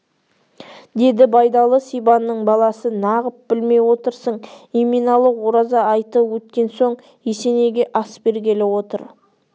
деді байдалы сибанның баласы нағып білмей отырсың еменалы ораза айты өткен соң есенейге ас бергелі отыр